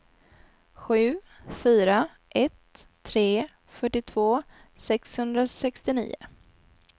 sju fyra ett tre fyrtiotvå sexhundrasextionio